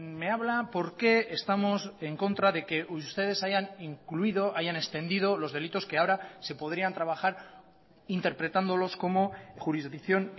me habla por qué estamos en contra de que ustedes hayan incluido hayan extendido los delitos que ahora se podrían trabajar interpretándolos como jurisdicción